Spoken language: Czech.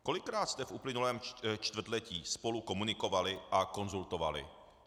Kolikrát jste v uplynulém čtvrtletí spolu komunikovali a konzultovali?